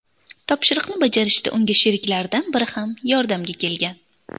Topshiriqni bajarishda unga sheriklaridan biri ham yordamga kelgan.